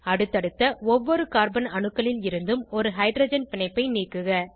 அடுத்தடுத்த ஒவ்வொரு கார்பன் அணுக்களில் இருந்தும் ஒரு ஹைட்ரஜன் பிணைப்பை நீக்குக